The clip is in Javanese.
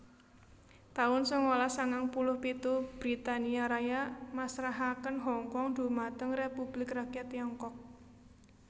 taun sangalas sangang puluh pitu Britania Raya masrahaken Hongkong dhumateng Republik Rakyat Tiongkok